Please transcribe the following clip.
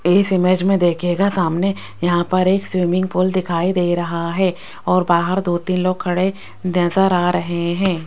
इस इमेज में देखिएगा सामने यहां पर एक स्विमिंग पूल दिखाई दे रहा है और बाहर दो तीन लोग खड़े नजर आ रहे हैं।